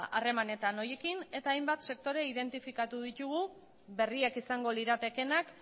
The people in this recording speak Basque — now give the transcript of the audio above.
harremanetan horiekin eta hainbat sektore identifikatu ditugu berriak izango liratekeenak